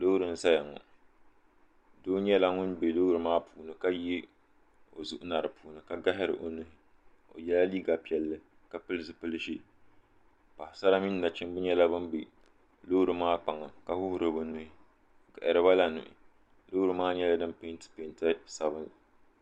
Loori n zaya ŋɔ doo nyɛla ŋun be loori maa puuni ka yihi o zuɣu na dipuuni ka gahari o nuhi ka ye liiga piɛlli ka pili zipil'ʒee Paɣasara mini nachimba nyɛla ban be loori maa kpaŋa ka wuɣuri bɛ nuhi o gaharibala nuhi loori maa nyɛla din penti penta sabinli.